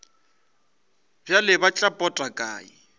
bjale tla ba pota kae